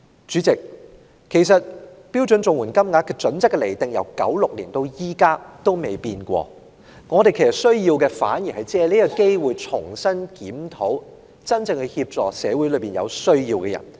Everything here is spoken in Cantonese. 主席，其實標準綜援金額準則的釐定自1996年至今未有任何改變，我們需要的反而是藉今次機會重新檢討如何真正協助社會上有需要的人。